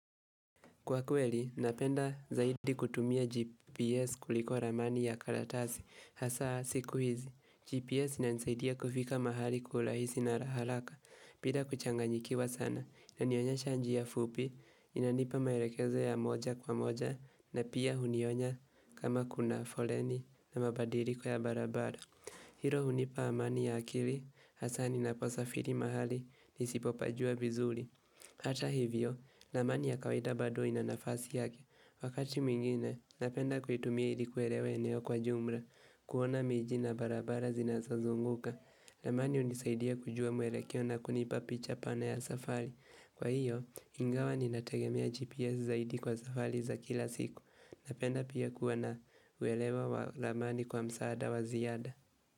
Kwa kweli, napenda zaidi kutumia GPS kuliko ramani ya karatasi. Hasa, siku hizi, GPS inanisaidia kufika mahali kwa urahisi na haraka. Bila kuchanganyikiwa sana, inanionyesha njia fupi, inanipa maelekezo ya moja kwa moja, na pia hunionya kama kuna foleni na mabadiliko ya barabara. Hilo hunipa amani ya akili, hasa ninaposafiri mahali, nisipopajua vizuri. Hata hivyo, ramani ya kawaida bado ina nafasi yake. Wakati mwingine, napenda kuitumia ili kuelewa eneo kwa jumla, kuona miji na barabara zinazazunguka. Ramani hunisaidia kujua mwelekeo na kunipa picha pana ya safari. Kwa hiyo, ingawa ni nategemea GPS zaidi kwa safari za kila siku, napenda pia kuwa na uelewa wa ramani kwa msaada wa ziada.